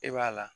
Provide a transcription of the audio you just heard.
E b'a la